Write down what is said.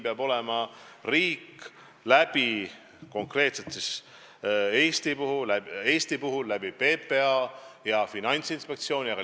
Ja Eesti riik peab PPA ja Finantsinspektsiooni kaudu valitsuse tasandil sellega tegelema.